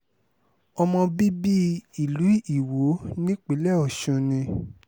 ọmọ bíbí ìlú iwọ nípínlẹ̀ ọ̀sùn ni